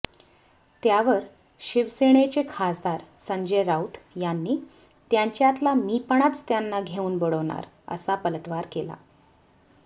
त्यावर शिवसेनेचे खासदार संजय राऊत यांनी त्यांच्यातला मी पणाच त्यांना घेऊन बुडवणार असा पलटवार केला